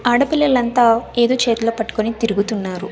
ఆడపిల్లలంతా ఏదో చేతిలో పట్టుకొని తిరుగుతున్నారు.